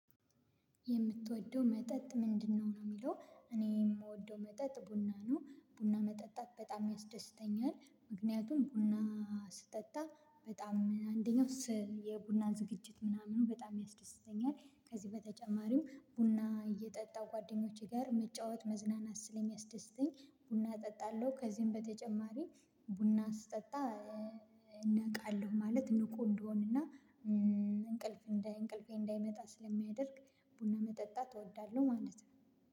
የምትወደው መጠጥ ምንድነው ነው? የሚለው እኔ የምወደው መጠጥ ቡና ነው ቡና መጠጣት በጣም ያስደስተኛል ምክንያቱም ቡና ስጠጣ በጣም አንደኛው የቡና ዝግጅት ምናምኑ በጣም ያስደስተኛል። ከዚህ በተጨማሪም ቡና እየጠጣው ጓደኞቼ ጋር መጫወት መዝናናት ስልም ያስደስተኝ ቡና እጠጣለሁ። ከዚህም በተጨማሪ ቡና አስጠጣ እነቃለሁ ማለት ንቁ እንደሆንና። እንቅልፍ እንዳይ እንቅልፌ እንዳይመጣ ስለሚያደርግ ቡና መጠጣት እወዳለሁ። ማለት ነው።